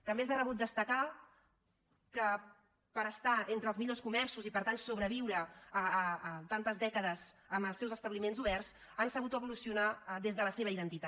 també és de rebut destacar que per estar entre els millors comerços i per tant sobreviure a tantes dècades amb els seus establiments oberts han sabut evolucio nar des de la seva identitat